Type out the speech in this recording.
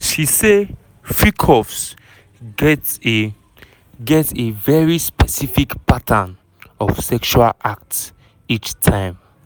she say freak-offs get a get a very specific "pattern" of sexual acts each time.